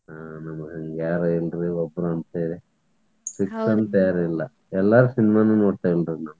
ನಮಗ್ ಯಾರಿಲ್ರಿ ಒಬ್ಬರಂತೆಳಿ fix ಅಂತ ಯಾರಿಲ್ಲ. ಎಲ್ಲಾರ್ cinema ನೋಡ್ತೇನ್ರಿ ನಾ.